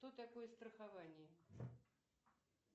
что такое страхование